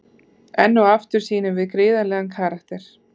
Enn og aftur sýnum við gríðarlegan karakter.